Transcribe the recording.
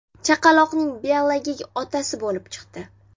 chaqaloqning biologik otasi bo‘lib chiqdi.